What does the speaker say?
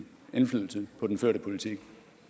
indflydelse på den førte politik